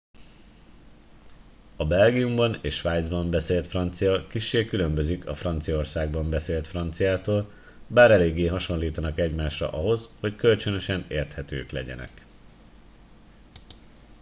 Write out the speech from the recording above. a belgiumban és svájcban beszélt francia kissé különbözik a franciaországban beszélt franciától bár eléggé hasonlítanak egymásra ahhoz hogy kölcsönösen érthetők legyenek